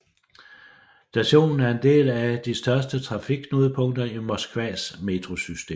Stationen er en del et af de største trafikknudepunkter i Moskvas metrosystem